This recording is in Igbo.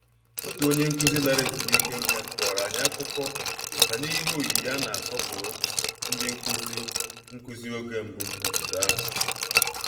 Otu onye nkụzi lara ezumike nká kọrọ anyị akụkọ banyere ihe oyiyi a na-asọpụrụ ndị nkụzi nkụzi oge mbụ n'obodo ahụ